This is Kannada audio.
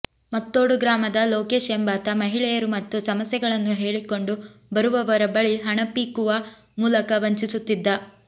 ಮತ್ತೋಡು ಗ್ರಾಮದ ಲೋಕೇಶ್ ಎಂಬಾತ ಮಹಿಳೆಯರು ಮತ್ತು ಸಮಸ್ಯೆಗಳನ್ನು ಹೇಳಿಕೊಂಡು ಬರುವವರ ಬಳಿ ಹಣ ಪೀಕುವ ಮೂಲಕ ವಂಚಸುತ್ತಿದ್ದ